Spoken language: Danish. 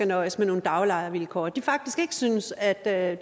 nøjes med nogle daglejervilkår og at de faktisk synes at der er